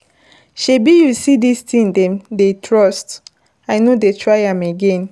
Shebi you see dis thing dem dey trust, I no go try am again.